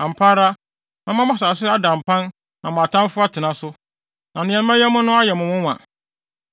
Ampa ara, mɛma mo asase so ada mpan na mo atamfo atena so, na nea mɛyɛ mo no ayɛ mo nwonwa.